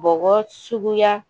Bɔgɔ suguya